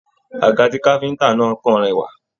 Àga tí káfíntà náà kàn rẹwà.